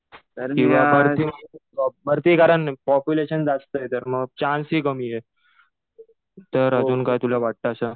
किंवा भरती कारण पॉप्युलेशन जास्त आहे. तर मग चान्स हि कमी आहे. तर अजून काही तुला वाटतं असं?